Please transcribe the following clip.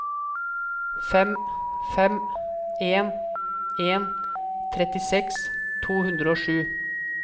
fem fem en en trettiseks to hundre og sju